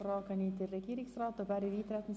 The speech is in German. Wünscht der Regierungsrat das Wort.